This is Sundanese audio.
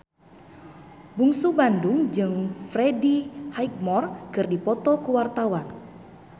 Bungsu Bandung jeung Freddie Highmore keur dipoto ku wartawan